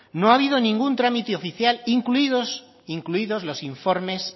no ha habido ningún trámite oficial incluidos los informes